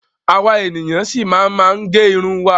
Àwa ènìyàn ṣi máa ma gẹ irun wa.